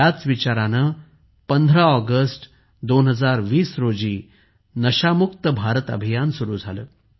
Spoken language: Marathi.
याच विचाराने 15 ऑगस्ट 2020 रोजी नशा मुक्त भारत अभियान सुरू झाले